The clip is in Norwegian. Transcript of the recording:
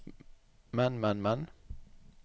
men men men